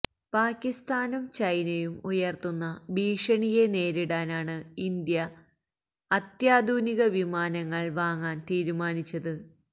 പാക്കിസ്ഥാനും ചൈനയും ഉയർത്തുന്ന ഭീഷണിയെ നേരിടാനാണ് ഇന്ത്യ അത്യാധുനിക വിമാനങ്ങൾ വാങ്ങാൻ തീരുമാനിച്ചത്